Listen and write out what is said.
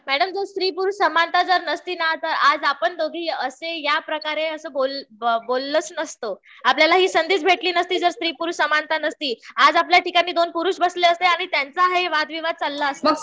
Madam जर स्त्री पुरुष समानता नसती ना तर आज आपण दोघी असे या प्रकारे बोललोच नसतो. आपल्याला हि संधीच भेटली नसती जर स्त्री पुरुष समानता नसती. आज आपल्या ठिकाणी दोन पुरुष बसले असते आणि त्यांचा हा वाद विवाद चालला असता.